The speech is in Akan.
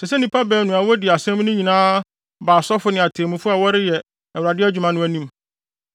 ɛsɛ sɛ nnipa baanu a wodi asɛm no nyinaa ba asɔfo ne atemmufo a wɔreyɛ Awurade adwuma no anim.